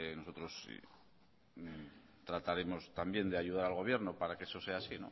nosotros trataremos también de ayudar al gobierno para que eso sea así